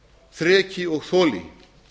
þreki og þoli